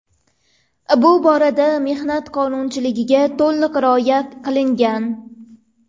Bu borada mehnat qonunchiligiga to‘liq rioya qilingan.